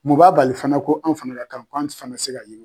Mun b'a bali fana ko an fana ka k'an fana tɛ se ka yi